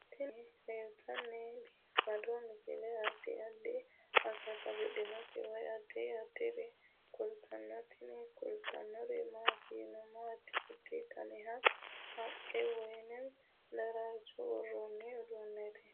Tini aleenni leetannoti biifado misile adi addi akata afidhinote woy addi addire kultannote tini kultannori maati yiniro addi addi danihu haqqe woy daraarcho worranni uduunneeti